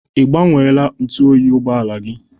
Ị gbanweela ntụ oyi ụgbọala gị?